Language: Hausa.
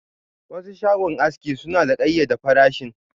Wasu shagon aski suna da kayyade farashin.